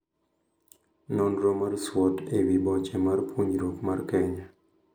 Nonro mar SWOT ewii boche mar puonjruok mar Kenya.